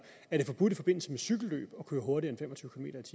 er det forbudt i forbindelse med cykelløb at køre hurtigere